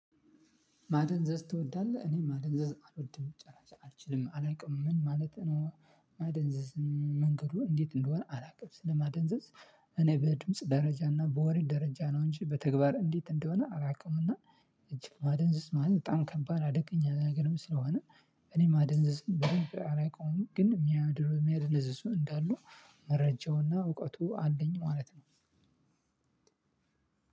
ማደንዘዝ ትወዳለህ እኔ ማደንዘዝ አልወድም መጨረሻ አልችልም አላቅም ምን ማለት ነው? ማደንዘዝ መንገዱ እንዴት እንደሆነ አላቅም ስለማደንዘዝ። እኔ በድምጽ ደረጃ እና በወሬ ደረጃ ነው እንጂ በተግባር እንዴት እንደሆነ አላቅምና። እጅግ ማደንዘዝ ማለት በጣም ከባድ አደገኛ ነገርም ስለሆነ እኔ ማደንዘዝ በደንብ አላውቅም። ግን የሚያድሩ የሚያደነዝዙ እንዳሉ መረጃውና እውቀቱ አለኝ ማለት ነው።